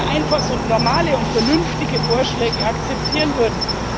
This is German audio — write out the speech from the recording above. Wenn wir einfach so normale und vernünftige Vorschläge akzeptieren würden!